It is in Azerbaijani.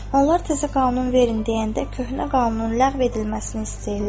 Onlar təzə qanun verin deyəndə köhnə qanun ləğv edilməsini istəyirlər.